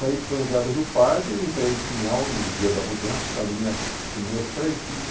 Saí de São José do Rio Pardo, entrei em Pinhal no dia da mudança com a minhas, com meus três filhos.